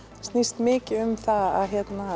snýst mikið um það að